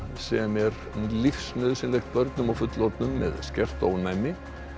sem er lífsnauðsynlegt börnum og fullorðnum með skert ónæmi